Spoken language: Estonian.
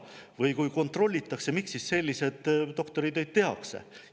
Või kui kontrollitakse, miks siis selliseid doktoritöid tehakse?